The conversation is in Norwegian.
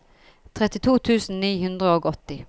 trettito tusen ni hundre og åtti